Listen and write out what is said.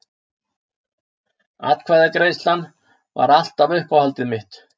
Atkvæðagreiðslan var alltaf uppáhaldið mitt.